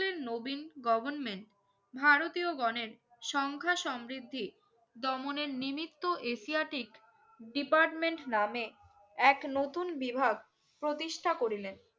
বালে নবিন goverment ভারতীয় গনের সংখ্যা সমৃদ্ধি দমনের নিমিত্ত Asiatic department নামে এক নতুন বিভাগ প্রতিষ্ঠা করিলেন